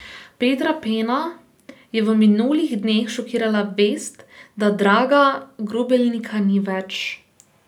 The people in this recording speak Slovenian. Petra Pena je v minulih dneh šokirala vest, da Draga Grubelnika ni več.